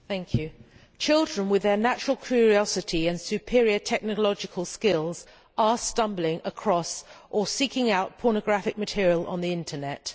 Madam President, children with their natural curiosity and superior technological skills are stumbling across or seeking out pornographic material on the Internet.